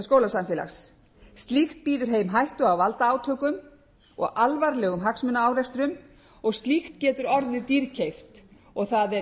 skólasamfélags slíkt býður heim hættu á valdaátökum og alvarlegum hagsmunaárekstrum og slíkt getur orðið dýrkeypt það er